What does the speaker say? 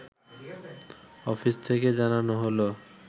office থেকে জানানো হলো